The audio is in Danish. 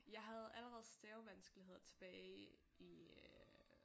Jeg havde allerede stavevanskeligheder tilbage i øh